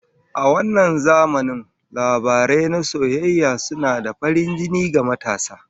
A wannan zamanin, labarai na soyayya suna da farin jini ga matasa